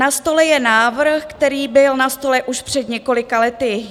Na stole je návrh, který byl na stole už před několika lety.